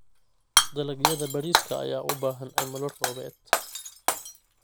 Dalagyada bariiska ayaa u baahan cimilo roobeed.